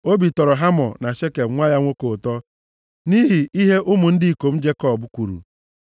Obi tọrọ Hamọ na Shekem nwa ya nwoke ụtọ nʼihi ihe ụmụ ndị ikom Jekọb kwuru.